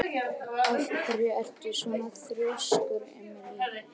Af hverju ertu svona þrjóskur, Emely?